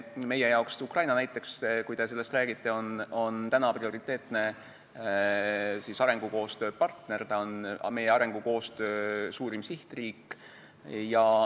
Meie jaoks on näiteks Ukraina – te rääkisite sellest – prioriteetne arengukoostööpartner, ta on meie arengukoostöö suurim sihtriik.